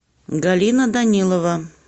галина данилова